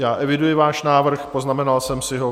Já eviduji váš návrh, poznamenal jsem si ho.